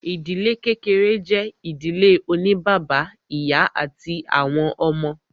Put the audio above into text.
Ìdílé kékeré jẹ́ ìdílé oní bàbá, ìyá àti àwọn ọmọ.